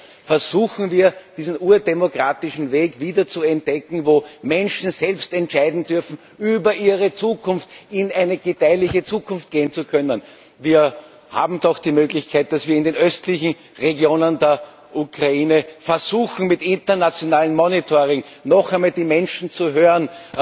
Nein, versuchen wir, diesen urdemokratischen Weg wieder zu entdecken, wo Menschen über ihre Zukunft selbst entscheiden dürfen, um in eine gedeihliche Zukunft gehen zu können. Wir haben doch die Möglichkeit, dass wir in den östlichen Regionen der Ukraine versuchen, mit internationalem Monitoring noch einmal die Menschen zu hören,